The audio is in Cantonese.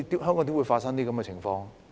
香港怎麼會發生這種情況？